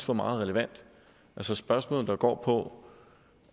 var meget relevant altså spørgsmålet der går på